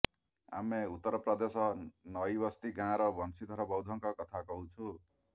ଆମେ ଉତ୍ତରପ୍ରଦେଶ ନଇବସ୍ତି ଗାଁର ବଂଶୀଧର ବୌଦ୍ଧଙ୍କ କଥା କହୁଛୁ